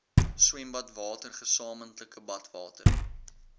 swembadwater gesamentlike badwater